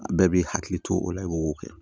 Bɛɛ b'i hakili to o la i b'o kɛ